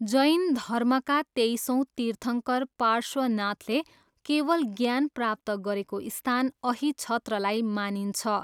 जैन धर्मका तेइसौँ तीर्थङ्कर पार्श्वनाथले केवल ज्ञान प्राप्त गरेको स्थान अहिछत्रलाई मानिन्छ।